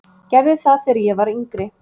Gerði það þegar ég var yngri.